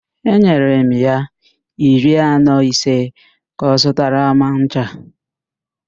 Enyere m ya iri naịra ise ka ọ zụta ncha.